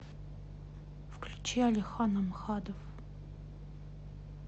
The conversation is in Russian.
включи алихан амхадов